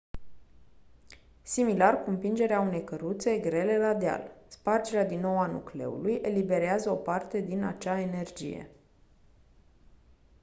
similar cu împingerea unei căruțe grele la deal spargerea din nou a nucleului eliberează o parte din acea energie